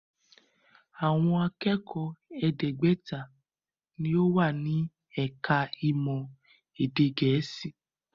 Àwọn akẹ́kọ̀ọ́ ẹ̀ẹ́gbẹ́ta ni ó wà ní ẹ̀ka-ìmọ̀ èdè Gẹ̀ẹ́sì.